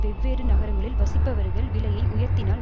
வெவ்வேறு நகரங்களில் வசிப்பவர்கள் விலையை உயர்த்தினால்